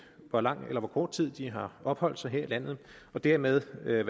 hvor lang eller hvor kort tid de har opholdt sig her i landet og dermed være